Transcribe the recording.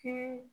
Kelen